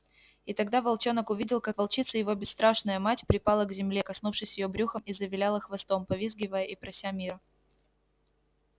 и тогда волчонок увидел как волчица его бесстрашная мать припала к земле коснувшись её брюхом и завиляла хвостом повизгивая и прося мира